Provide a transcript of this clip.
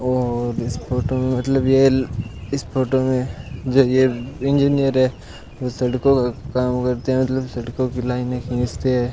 और इस फोटो में मतलब ये फोटो में ए इंजीनियर है यह सड़कों का काम करते हैं मतलब सड़कों की लाइनें खींचते हैं।